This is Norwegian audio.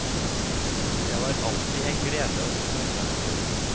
Det var alltid en glede å få møte ham.